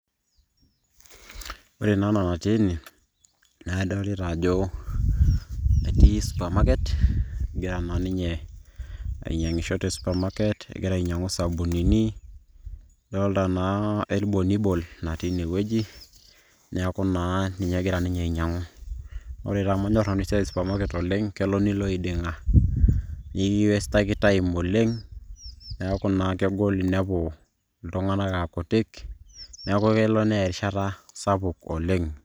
Ore naa ena natii ene, na adolita ajo etii supermarket ,egira naa ninye ainyang'isho te supermarket ,egira ainyang'u isabunini, adoltaa naa eribonibon natii ine, neeku naa ninye egira ninye ainyang'u. Ore pamanyor nanu esiai e supermarket oleng',kelo nilo eiding'a. Nikiwestaki time oleng'. Neeku naa kegol inepu iltung'anak akutik, neeku kelo neya erishata sapuk oleng'.